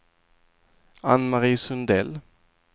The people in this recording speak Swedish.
Ann-Mari Sundell